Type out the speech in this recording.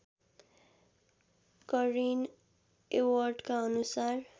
करेन एवर्टका अनुसार